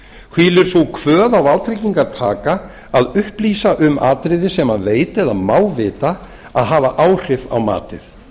hvílir sú kvöð á vátryggingartaka að upplýsa um atriði sem hann veit eða má vita að hafa áhrif á matið